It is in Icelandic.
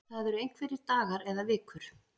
Það eru einhverjir dagar eða vikur